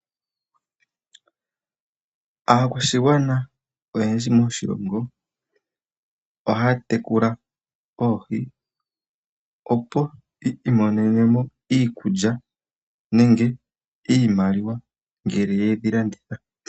Aakwashigwana oyendji moshilongo oha tekula oohi opo yi imonenemo iikulya nenge iimaliwa ngele yedhi landitha